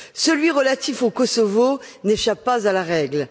Celui relatif au Kosovo n'échappe pas à la règle.